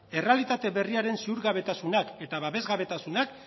errealitate berriaren ziurgabetasunak eta babesgabetasunak